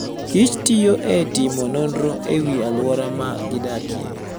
kich tiyo e timo nonro e wi alwora ma gidakie.